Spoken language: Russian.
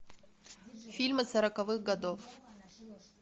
фильмы сороковых годов